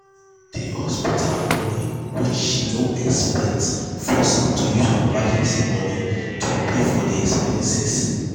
the hospital money wey she no expect force am to use her emergency money to pay for de expenses.